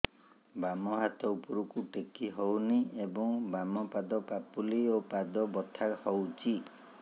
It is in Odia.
ବାମ ହାତ ଉପରକୁ ଟେକି ହଉନି ଏବଂ ବାମ ପାଖ ପାପୁଲି ଓ ପାଦ ବଥା ହଉଚି